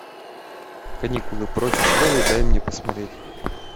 каникулы прочь из школы дай мне посмотреть